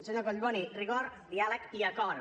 senyor collboni rigor diàleg i acord